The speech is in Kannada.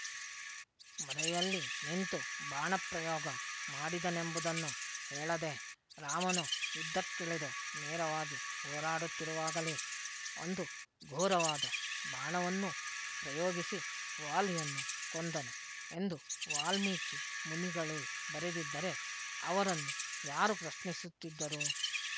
ಮರೆಯಲ್ಲಿ ನಿಂತು ಬಾಣಪ್ರಯೋಗ ಮಾಡಿದನೆಂಬುದನ್ನು ಹೇಳದೆರಾಮನು ಯುದ್ಧಕ್ಕಿಳಿದು ನೇರವಾಗಿ ಹೋರಾಡುತ್ತಿರುವಾಗಲೇ ಒಂದು ಘೋರವಾದ ಬಾಣವನ್ನು ಪ್ರಯೋಗಿಸಿ ವಾಲಿಯನ್ನು ಕೊಂದನು ಎಂದು ವಾಲ್ಮೀಕಿ ಮುನಿಗಳೇ ಬರೆದಿದ್ದರೆ ಅವರನ್ನು ಯಾರು ಪ್ರಶ್ನಿಸುತ್ತಿದ್ದರು